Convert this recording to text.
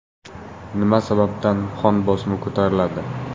Nima sababdan qon bosimi ko‘tariladi?.